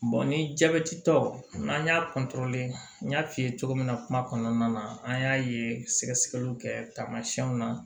ni jabɛtitɔ n'an y'a n y'a f'i ye cogo min na kuma kɔnɔna na an y'a ye sɛgɛsɛgɛliw kɛ tamasiyɛnw na